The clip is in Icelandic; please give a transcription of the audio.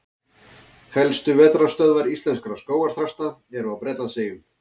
Helstu vetrarstöðvar íslenskra skógarþrasta eru á Bretlandseyjum.